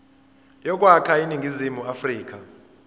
yokwakha iningizimu afrika